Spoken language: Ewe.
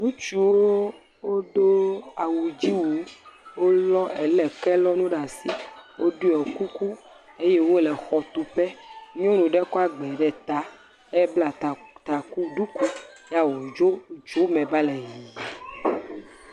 Ŋutsuwo wodo awudziwu wolɔ ele kelɔnu ɖe asi woɖɔ kuku eye wole xɔtuƒe. Nyɔnu aɖe kɔ agbe ɖe ta ebla ta taku ɖuku yae wodzo tso eme va le yiyim.